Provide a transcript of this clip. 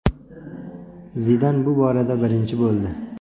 Zidan bu borada birinchi bo‘ldi.